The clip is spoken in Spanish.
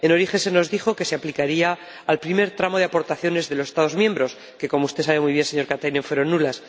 En origen se nos dijo que se aplicaría al primer tramo de aportaciones de los Estados miembros, que, como usted sabe muy bien, señor Katainen, fueron nulas.